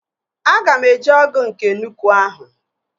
Aga m eji ọgụ nke nnukwu ahụ